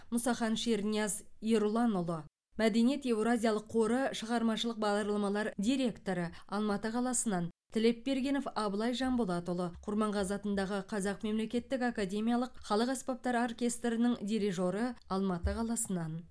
мұсахан шернияз ерұланұлы мәдениет еуразиялық қоры шығармашылық бағдарламалар директоры алматы қаласынан тілепбергенов абылай жанболатұлы құрманғазы атындағы қазақ мемлекеттік академиялық халық аспаптар оркестрінің дирижері алматы қаласынан